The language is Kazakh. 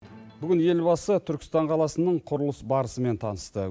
бүгін елбасы түркістан қаласының құрылыс барысымен танысты